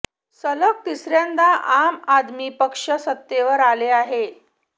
सलग तिसऱ्यांदा आम आदमी पक्ष सत्तेवर आले आहे